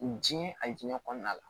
U diɲɛ a diinɛ kɔnɔna la